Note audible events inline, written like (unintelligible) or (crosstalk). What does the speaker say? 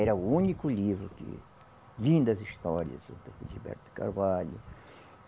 Era o único livro de lindas histórias (unintelligible) Felisberto de Carvalho.